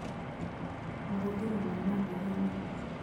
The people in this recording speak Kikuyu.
Mahũthĩro ma natharĩ-inĩ